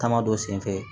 Taama dɔ senfɛ